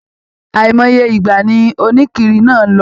Àìmọye ìgbà ní onikiri náà lọ.